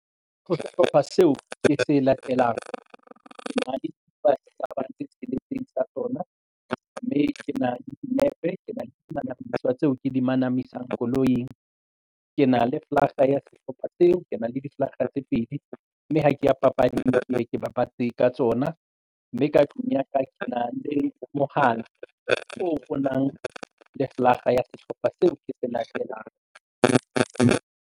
Ho sehlopha seo ke se latelang ke na le dikipa tse tsheletseng sa tsona mme ke na dinepe kena manamiswa tseo ke di manamisang koloing. Ke na le flaga ya sehlopha seo ke nang le di flaga tse pedi mme ha ke ya papading ke ye ke babatse ka tsona mme ka tlung ya ka ke na le mohala o nang le flaga ya sehlopha seo ke se latelang fe.